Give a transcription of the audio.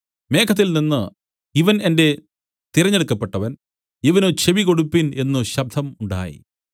മേഘത്തിൽനിന്നു ഇവൻ എന്റെ തിരഞ്ഞെടുക്കപ്പെട്ടവൻ ഇവന് ചെവികൊടുപ്പിൻ എന്നു ഒരു ശബ്ദം ഉണ്ടായി